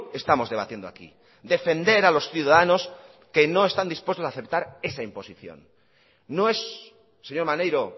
estamos debatiendo aquí defender a los ciudadanos que no están dispuestos a aceptar esa imposición no es señor maneiro